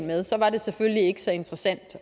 med så var det selvfølgelig ikke så interessant